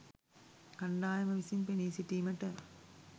කණ්ඩායම විසින් පෙනී සිටීමට